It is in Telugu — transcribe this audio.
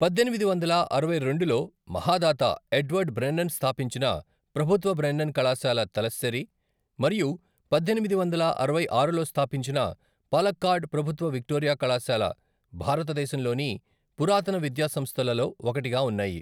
పద్దెనిమిది వందల అరవై రెండులో మహాదాత ఎడ్వర్డ్ బ్రెన్నెన్ స్థాపించిన ప్రభుత్వ బ్రెన్నెన్ కళాశాల, తలస్సేరి మరియు పద్దెనిమిది వందల అరవై ఆరులో స్థాపించిన పాలక్కాడ్ ప్రభుత్వ విక్టోరియా కళాశాల భారతదేశంలోని పురాతన విద్యాసంస్థలలో ఒకటిగా ఉన్నాయి.